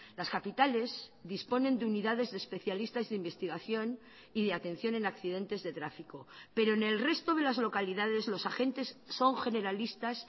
las capitales disponen de unidades de especialistas de investigación y de atención en accidentes de tráfico pero en el resto de las localidades los agentes son generalistas